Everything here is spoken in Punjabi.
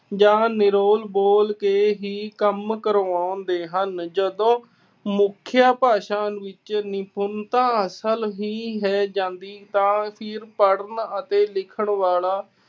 ਜਾਂ ਨਿਰੋਲ ਬੋਲ ਕੇ ਹੀ ਕੰਮ ਕਰਵਾਉਂਦੇ ਹਨ। ਜਦੋਂ ਮੁੱਖ ਭਾਸ਼ਾ ਵਿੱਚ ਨਿਪੰਨਤਾ ਆ ਜਾਂਦੀ ਹੈ ਤਾ ਫਿਰ ਪੜ੍ਹਨ ਤੇ ਲਿਖਣ ਵਾਲਾ